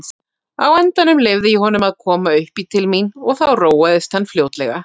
Á endanum leyfði ég honum að koma uppí til mín og þá róaðist hann fljótlega.